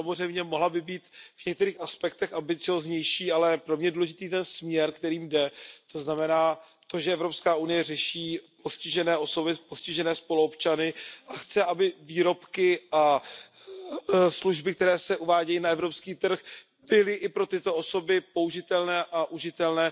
Samozřejmě, mohla by být v některých aspektech ambicióznější, ale pro mě je důležitý ten směr, kterým jde, to znamená to, že Evropská unie řeší postižené osoby, postižené spoluobčany a chce, aby výrobky a služby, které se uvádějí na evropský trh, byly i pro tyto osoby použitelné a užitelné.